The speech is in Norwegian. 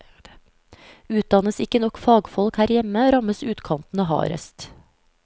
Utdannes ikke nok fagfolk her hjemme, rammes utkantene hardest.